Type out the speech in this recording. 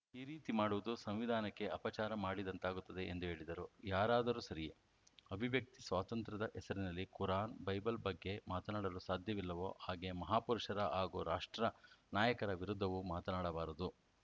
ಈ ರೀತಿ ಮಾಡುವುದು ಸಂವಿಧಾನಕ್ಕೆ ಅಪಚಾರ ಮಾಡಿದಂತಾಗುತ್ತದೆ ಎಂದು ಹೇಳಿದರು ಯಾರಾದರೂ ಸರಿಯೆ ಅಭಿವ್ಯಕ್ತಿ ಸ್ವಾತಂತ್ರ್ಯದ ಹೆಸರಿನಲ್ಲಿ ಕುರಾನ್‌ ಬೈಬಲ್‌ ಬಗ್ಗೆ ಮಾತನಾಡಲು ಸಾಧ್ಯವಿಲ್ಲವೋ ಹಾಗೇ ಮಹಾಪುರುಷರ ಹಾಗೂ ರಾಷ್ಟ್ರ ನಾಯಕರ ವಿರುದ್ಧವೂ ಮಾತನಾಡಬಾರದು